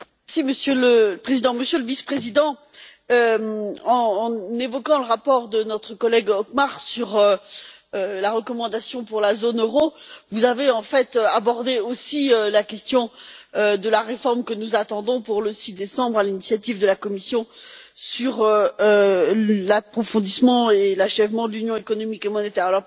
Monsieur le Président, Monsieur le Vice président, en évoquant le rapport de notre collègue Othmar Karas sur la recommandation pour la zone euro, vous avez en fait également abordé la question de la réforme que nous attendons pour le 6 décembre, à l'initiative de la Commission, sur l'approfondissement et l'achèvement de l'Union économique et monétaire.